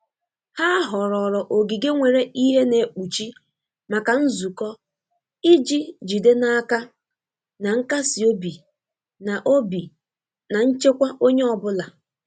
Ha họrọọrọ ogige nwere ìhè na-ekpuchi maka nzukọ iji jide n'aka na nkasi obi na obi na nchekwa onye ọ bụla.